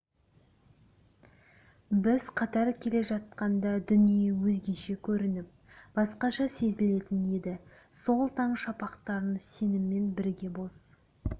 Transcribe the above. біз қатар келе жатқанда дүние өзгеше көрініп басқаша сезілетін еді сол таң шапақтарын сенімен бірге боз